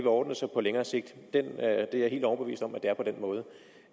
ordne sig på længere sigt jeg er helt overbevist om at det er på den måde